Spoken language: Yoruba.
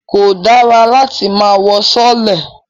Kò dára láti máa wọ sọọ́lẹ̀